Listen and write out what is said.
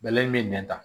Bɛlɛ min bɛ nɛn ta